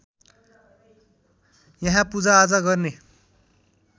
यहाँ पूजाआजा गर्ने